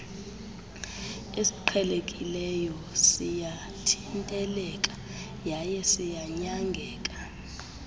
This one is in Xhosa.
esiqhelekileyo siyathinteleka yayesiyanyangeka